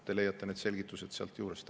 Te leiate need selgitused sealt juurest.